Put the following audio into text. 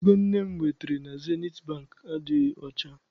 Ego nne m wetara na Zenit Bankị adịghị ọcha.